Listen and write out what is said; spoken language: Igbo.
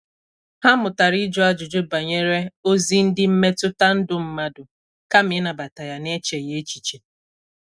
Ha mụtara ịjụ ajụjụ banyere ozi ndị mmetụta ndụ mmadụ kama ịnabata ya na-echeghi echiche.